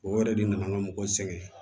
O yɛrɛ de nana ŋa mɔgɔ sɛŋɛn